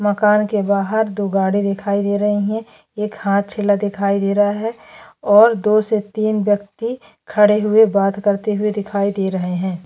मकान के बाहर दो गाडी दिखाई दे रही है एक हाथचेला दिखाई दे रहा है और दो से तीन व्यक्ति खड़े हुए बात करते हुए दिखाई दे रहे है।